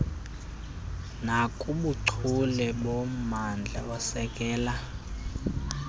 nakubuchule bommandla osekela